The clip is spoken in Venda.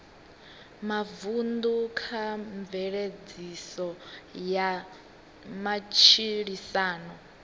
mavunḓu kha mveledziso ya matshilisano